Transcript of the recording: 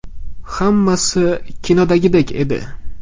Hammasi kinodagidek edi.